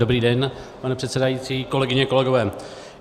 Dobrý den, pane předsedající, kolegyně, kolegové.